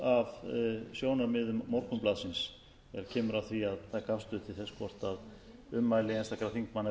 af sjónarmiðum morgunblaðsins ef kemur að því að taka afstöðu til þess hvort ummæli einstakra þingmanna